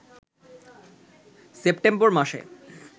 September মাসে